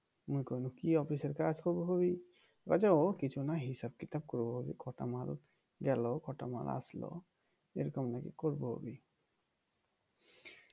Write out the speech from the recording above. মু কইল কি অফিসের কাজ বলছে ও কিছু নয় হিসাব কিতাব করবো কটা মাল গেল কটা মাল আসলো এরকম নাকি করবে অভি